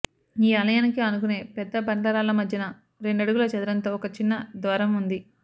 ఈ ఆలయానికి ఆనుకునే పెద్ద బండ రాళ్ల మధ్యన రెండడుగుల చదరంతో ఒక చిన్న ద్వారం ఉన్నది